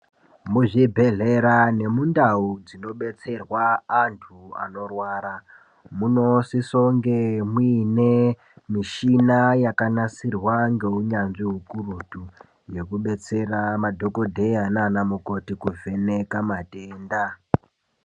Muzvibhedhlera nemundau dzinobetserwa antu anorwara, munosisounge muine mishina yakanasirwa ngeunyanzvi ukurutu ,yekubetsera madhokodheya naanamukoti kuvheneka matenda.